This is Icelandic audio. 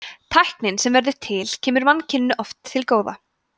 tæknin sem verður til kemur mannkyninu oft til góða